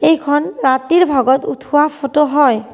এইখন ৰাতিৰ ভাগত উঠুৱা ফটো হয়।